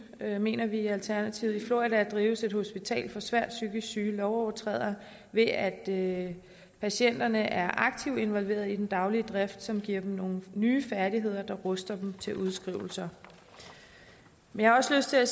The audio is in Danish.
mener vi i alternativet i florida drives et hospital for svært psykisk syge lovovertrædere ved at at patienterne er aktivt involveret i den daglige drift som giver dem nogle nye færdigheder der ruster dem til udskrivelser jeg har også lyst til at